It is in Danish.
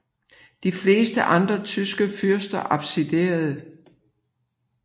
De fleste andre tyske fyrster abdicerede